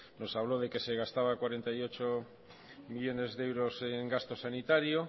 nos habló de que se gastaba cuarenta y ocho millónes de euros en gasto sanitario